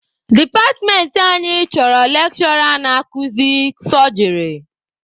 Departmentị anyị chọrọ lekshụra na-akuzi sọjịrị.